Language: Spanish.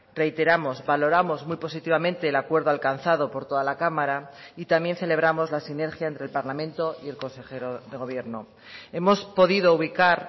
reiteramos valoramos muy positivamente el acuerdo alcanzado por toda la cámara y también celebramos la sinergia entre el parlamento y el consejero de gobierno hemos podido ubicar